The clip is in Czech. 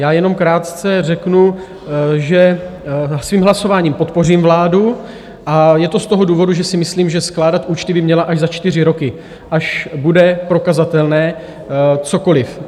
Já jenom krátce řeknu, že svým hlasováním podpořím vládu, a je to z toho důvodu, že si myslím, že skládat účty by měla až za čtyři roky, až bude prokazatelné cokoliv.